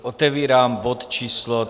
Otevírám bod číslo